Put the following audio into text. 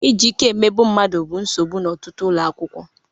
Iji ike emegbu mmadụ bụ nsogbu n'ọtụtụ ụlọ akwụkwọ